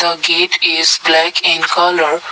a gate is black in colour.